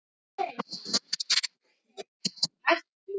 Svo ólík konunni sem ég kynntist fyrst.